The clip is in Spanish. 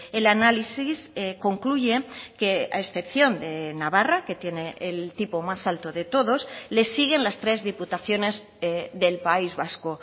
el análisis concluye que a excepción de navarra que tiene el tipo más alto de todos le siguen las tres diputaciones del país vasco